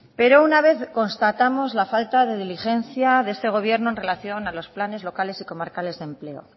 pero una vez constatamos la falta de diligencia de este gobierno en relación a los planes locales y comarcales de empleo